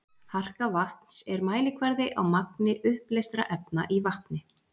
Harka vatns er mælikvarði á magni uppleystra efna í vatni.